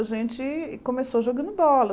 A gente começou jogando bola.